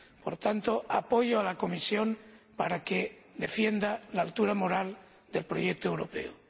Por tanto, apoyo a la Comisión para que defienda la altura moral del proyecto europeo.